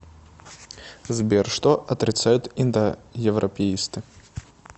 сбер что отрицают индоевропеисты